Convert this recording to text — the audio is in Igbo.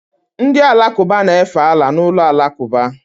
Ndị Alakụba na-efe Allah n'ụlọ alakụba